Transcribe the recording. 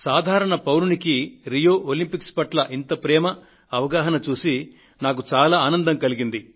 సాధారణ పౌరుడికి Rio Olympics పట్ల ఇంత ప్రేమ అవగాహన చూసి నాకు చాలా ఆనందం వేసింది